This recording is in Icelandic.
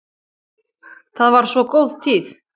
Það var svo góð tíð.